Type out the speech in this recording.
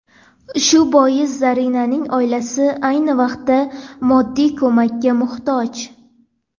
Shu bois Zarinaning oilasi ayni vaqtda moddiy ko‘makka muhtoj.